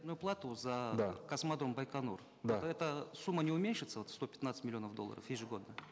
ну плату за да космодром байконур да то эта сумма не уменьшится вот сто пятнадцать миллионов долларов ежегодно